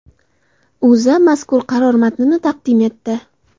O‘zA mazkur qaror matnini taqdim etdi .